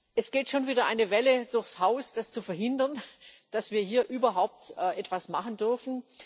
Es geht schon wieder eine Welle durchs Haus, zu verhindern, dass wir hier überhaupt etwas machen dürfen.